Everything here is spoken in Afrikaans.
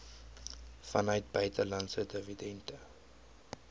vanuit buitelandse dividende